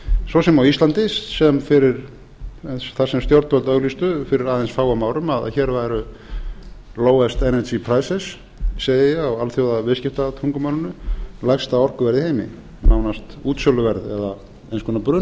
svo sem á íslandi þar sem stjórnvöld auglýstu fyrir aðeins fáum árum að hér væri lowest energy prices segi ég á alþjóðaviðskiptatungumálinu lægsta orkuverð í heimi nánast útsöluverð eða eins